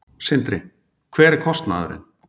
Sindri: Hver er kostnaðurinn?